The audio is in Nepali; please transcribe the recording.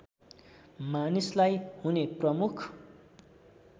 मानिसलाई हुने प्रमुख